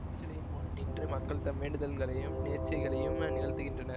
அத்திருச்சிலையின் முன் நின்று மக்கள் தம் வேண்டுதல்களையும் நேர்ச்சைகளையும் நிகழ்த்துகின்றனர்